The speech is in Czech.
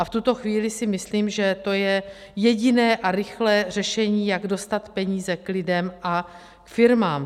A v tuto chvíli si myslím, že to je jediné a rychlé řešení, jak dostat peníze k lidem a firmám.